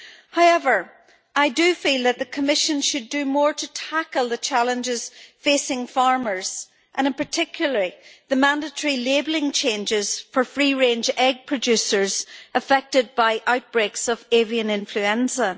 However, I do feel that the Commission should do more to tackle the challenges facing farmers, and in particular the mandatory labelling changes for free-range egg producers affected by outbreaks of avian influenza.